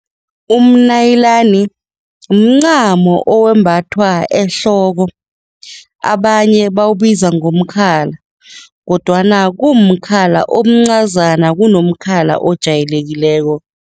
Umnayilani mncamo owembathwa ehloko, abanye bawubiza ngomkhala kodwana kumkhala omncazana kunomkhala ojayelekileko.